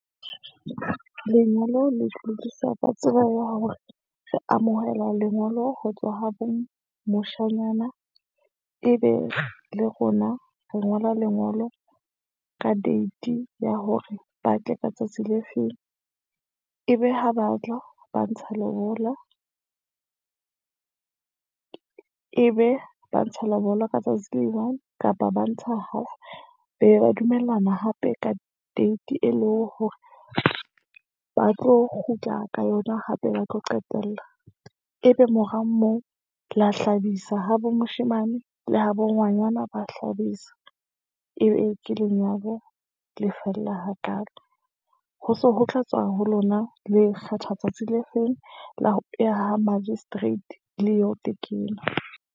Lengolo le hlwekisa ka tsebo ya hore re amohela lengolo ho tswa ha bo moshanyana, e be le rona re ngola lengolo ka date ya hore ba tle ka tsatsi le feng. E be ha ba tla ba ntsha lobola e be ba ntsha lobola ka tsatsi le one, kapa ba ntsha half. Be ba dumellana hape ka date, e leng hore ba tlo kgutla ka yona, hape ba tlo qetella. E be mora moo la hlabisa habo moshemane le habo ngwanyana, ba hlabisa. Ebe ke lenyalo le fella hakaalo. Ho se ho tla tswa ho lona, le kgetha tsatsi le feng la ho ya ha magistrate le yo tekena.